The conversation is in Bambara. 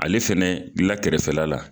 Ale fana la kɛrɛfɛla la.